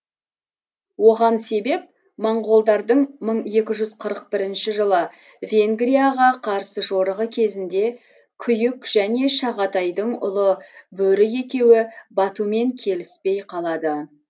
оған себеп моңғолдардың мың екі жүз қырық бірінші жылы венгрияға қарсы жорығы кезінде күйік және шағатайдың ұлы бөрі екеуі батумен келіспей қалады